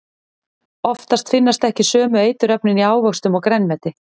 Oftast finnast ekki sömu eiturefnin í ávöxtum og grænmeti.